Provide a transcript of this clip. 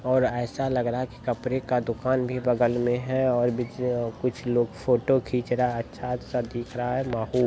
और ऐसा लग रहा है की कपड़े का दुकान भी बगल मे है और ब-कुछ लोग फोटो खीच रहा है अच्छा अच्छा दिख रहा है ।